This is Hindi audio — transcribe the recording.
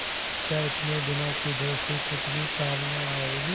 क्या इतने दिनों की दोस्ती कुछ भी काम न आवेगी